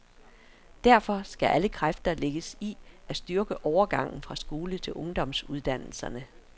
Derfor skal alle kræfter lægges i at styrke overgangen fra skolen til ungdomsuddannelserne.